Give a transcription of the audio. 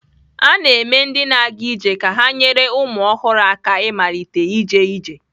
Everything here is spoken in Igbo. A na-eme ndị na-aga ije ka ha nyere ụmụ ọhụrụ aka ịmalite ije ije.